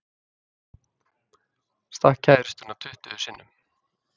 Stakk kærustuna tuttugu sinnum